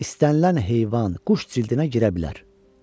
istənilən heyvan, quş cildinə girə bilər.